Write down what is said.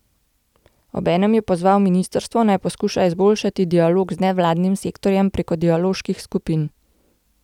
Obenem je pozval ministrstvo, naj poskuša izboljšati dialog z nevladnim sektorjem preko dialoških skupin.